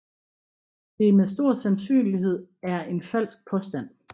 Det er med stor sandsynlighed er en falsk påstand